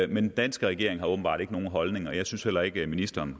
den danske regering har åbenbart ikke nogen holdning og jeg synes heller ikke at ministeren